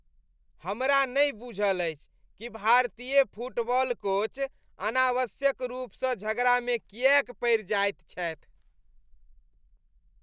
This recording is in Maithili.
हमरा नहि बुझल अछि कि भारतीय फुटबॉल कोच अनावश्यक रूपसँ झगड़ामे किएक पड़ि जाएत छथि।